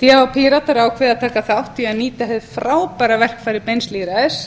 því hafa píratar ákveðið að taka þátt í að nýta hið frábæra verkfæri beins lýðræðis